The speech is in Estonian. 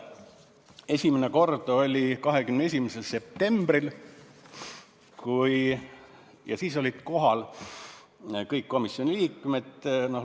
Esimene kord oli 21. septembril ja siis olid kohal kõik komisjoni liikmed.